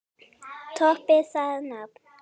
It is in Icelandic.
Toppið það nafn!